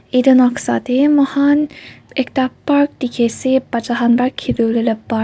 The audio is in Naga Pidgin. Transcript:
etu noksa tae moi khan ekta park dekhi ase bacha khan para khelivo lae laga park .